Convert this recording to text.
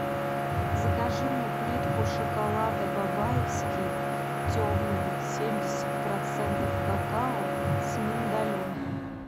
закажи мне плитку шоколада бабаевский темный семьдесят процентов какао с миндалем